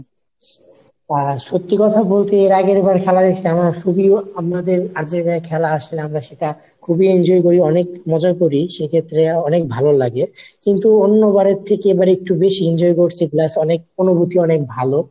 আহ সত্যি কথা বলতে এর আগেরবার খেলা দেখছি আমরা শুধু আপনাদের আর যে জায়গায় খেলা আসলে আমরা সেটা খুবই enjoy করি, অনেক মজাও করি সেক্ষেত্রে অনেক ভালো লাগে কিন্তু অন্যবারের থেকে এবার একটু বেশি enjoy করছি plus অনেক অনুভূতি অনেক ভালো।